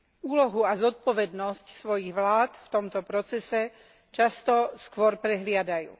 Úlohu a zodpovednosť svojich vlád v tomto procese často skôr prehliadajú.